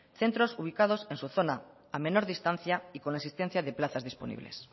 centros ubicados en su zona a menor distancia y con la existencia de plazas disponibles